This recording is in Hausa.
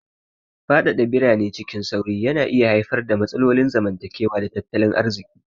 Fadada birane cikin sauri na iya haifar da matsalolin zamantakewa da tattalin arziki.